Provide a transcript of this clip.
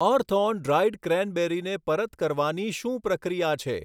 અર્થઑન dried ક્રૅનબેરીને પરત કરવાની શું પ્રક્રિયા છે